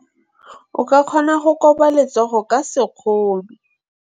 O ka kgona go koba letsogo ka sekgono.